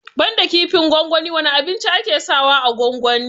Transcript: Banda kifin gwangwani wane abinci ake sa wa a gwangwani?